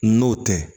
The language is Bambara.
N'o tɛ